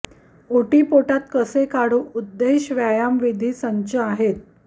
ओटीपोटात कसे काढू उद्देश व्यायाम विविध संच आहेत